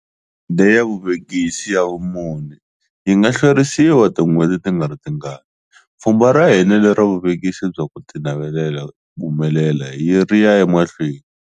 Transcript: Leya Vuvekisi ya vumune yi nga hlwerisiwa tin'hweti tingaritingani, pfhumba ra hina lera vuvekisi bya ku tinavelela ku humelela ri ya emahlweni.